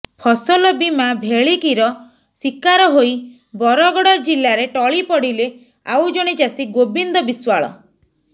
ଫସଲ ବୀମା ଭେଳିକିର ଶିକାର ହୋଇ ବରଗଡ଼ ଜିଲ୍ଲାରେ ଟଳି ପଡ଼ିଲେ ଆଉ ଜଣେ ଚାଷୀ ଗୋବିନ୍ଦ ବିଶ୍ବାଳ